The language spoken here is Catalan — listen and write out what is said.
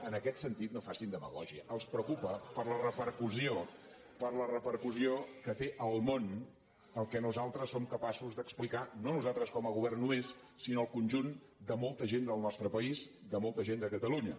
en aquest sentit no facin demagògia els preocupa per la repercussió per la repercussió que té al món el que nosaltres som capaços d’explicar no nosaltres com a govern només sinó el conjunt de molta gent del nostre país de molta gent de catalunya